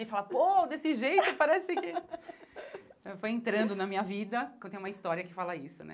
Ele fala, pô, desse jeito, parece que... Foi entrando na minha vida, que eu tenho uma história que fala isso, né?